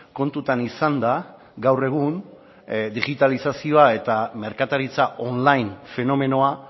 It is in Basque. kontutan izanda gaur egun digitalizazioa eta merkataritza online fenomenoa